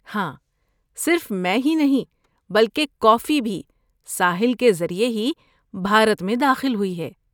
ہاں، صرف میں ہی نہیں بلکہ کافی بھی ساحل کے ذریعے ہی بھارت میں داخل ہوئی ہے۔